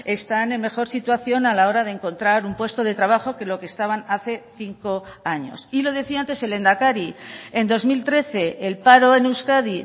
están en mejor situación a la hora de encontrar un puesto de trabajo que lo que estaban hace cinco años y lo decía antes el lehendakari en dos mil trece el paro en euskadi